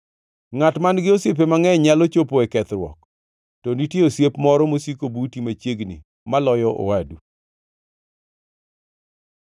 Ngʼat man-gi osiepe mangʼeny nyalo chopo e kethruok to nitie osiep moro masiko buti machiegni maloyo owadu.